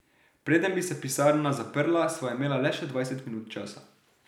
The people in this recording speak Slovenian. Preden bi se pisarna zaprla, sva imela le še dvajset minut časa.